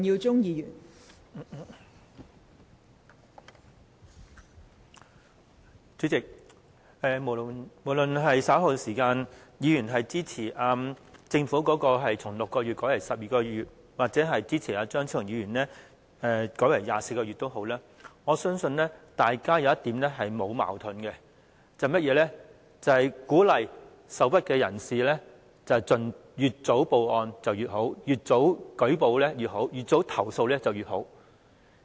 代理主席，無論議員稍後是支持政府將6個月改為12個月或支持張超雄議員改為24個月的修正案也好，我相信大家在一點上是沒有矛盾的，便是鼓勵受屈人士越早報案越好、越早舉報越好、越早投訴越好。